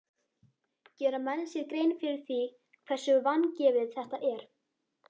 Gera menn sér grein fyrir því hversu vangefið þetta er?